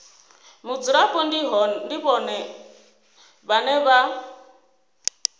mudzulapo ndi vhone vhane vha